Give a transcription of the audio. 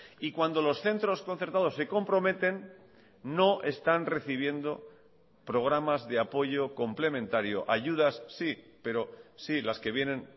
y cuando los centros concertados se comprometen no están recibiendo programas de apoyo complementario ayudas sí pero sí las que vienen